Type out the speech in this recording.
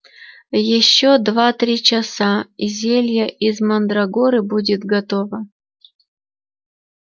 ещё два-три часа и зелье из мандрагоры будет готово